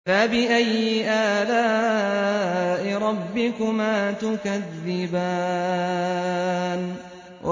فَبِأَيِّ آلَاءِ رَبِّكُمَا تُكَذِّبَانِ